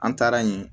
An taara yen